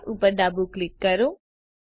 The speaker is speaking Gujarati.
ફાઇલ ઉપર ડાબું ક્લિક કરો